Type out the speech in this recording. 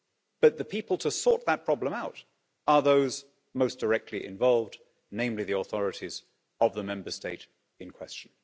But the people to sort that problem out are those most directly involved, namely the authorities of the Member State in question.